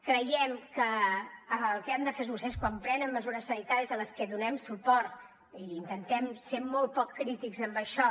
creiem que el que han de fer vostès quan prenen mesures sanitàries a les que donem suport i intentem ser molt poc crítics amb això